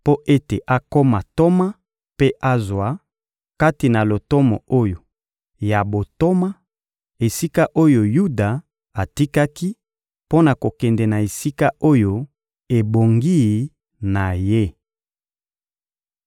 mpo ete akoma ntoma mpe azwa, kati na lotomo oyo ya bontoma, esika oyo Yuda atikaki mpo na kokende na esika oyo ebongi na ye.»